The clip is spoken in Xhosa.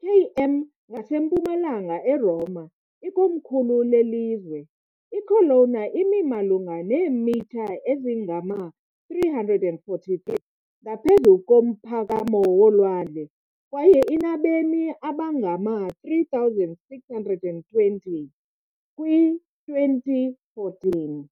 km ngasempumalanga eRoma, ikomkhulu lelizwe. I-Colonna imi malunga neemitha ezingama-343 ngaphezu komphakamo wolwandle, kwaye inabemi abangama-3,620, kwi 2014.